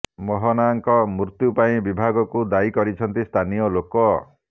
ମୋହନାଙ୍କ ମୃତ୍ୟୁ ପାଇଁ ବିଭାଗକୁ ଦାୟୀ କରିଛନ୍ତି ସ୍ଥାନୀୟ ଲୋକ